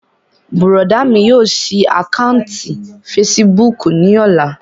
Bùrọ̀dá mi yóò ṣí àkáǹtì fesibúùkù ní ọ̀la